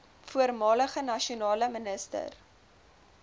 voormalige nasionale minister